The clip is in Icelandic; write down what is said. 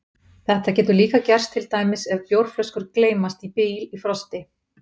Þetta getur líka gerst til dæmis ef bjórflöskur gleymast í bíl í frosti.